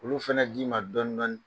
Olu fana d'i ma dɔɔnin dɔɔnin.